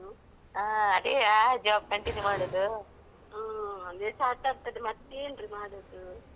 ಹ ಅದೇ ಸಾಕಾಗ್ತದೆ ಮತ್ತೇನ್ರಿ ಮಾಡುದೂ ಅದೇ ಮಾಡ್ಬೇಕಲ್ಲ.